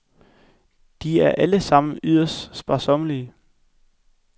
De er alle sammen yderst sparsommelige.